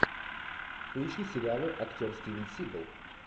поищи сериалы актер стивен сигал